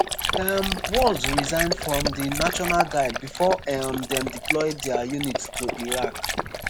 um walz resign from di national guard bifor um dem deploy dia unit to iraq.